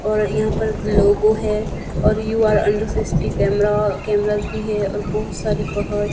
और यहां पर लोगो है और you are under CCTV camera cameras भी है और बहोत सारे पहाड़ --